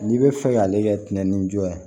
N'i bɛ fɛ k'ale kɛ tɛnɛnni jɔ ye